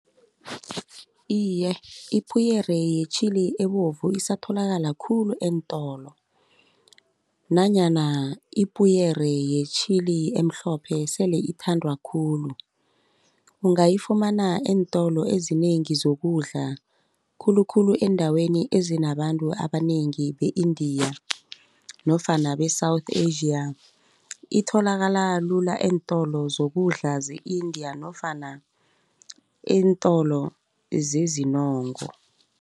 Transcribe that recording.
Iye, Ipuyere yetjhili ebovu isatholakali khulu eentolo nanyana ipuyere yetjhili emhlophe sele ithandwa khulu. Ungayifumana eentolo ezinengi zokudla, khulukhulu eendaweni ezinabantu abanengi be-India nofana be-South Asia. Itholakala lula eentolo zokudla ze-India nofana eentolo zezinongo.